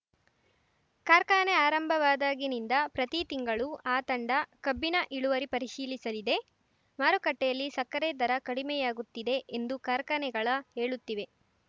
ಕಾರ್ಖಾನೆ ಆರಂಭವಾದಾಗಿನಿಂದ ಪ್ರತಿ ತಿಂಗಳು ಆ ತಂಡ ಕಬ್ಬಿನ ಇಳುವರಿ ಪರಿಶೀಲಿಸಲಿದೆ ಮಾರುಕಟ್ಟೆಯಲ್ಲಿ ಸಕ್ಕರೆ ದರ ಕಡಿಮೆಯಾಗುತ್ತಿದೆ ಎಂದು ಕಾರ್ಖಾನೆಗಳ ಹೇಳುತ್ತಿವೆ